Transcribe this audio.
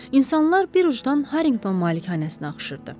İnsanlar bir ucundan Harinqton malikanəsinə axışırdı.